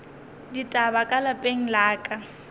ditaba ka lapeng la ka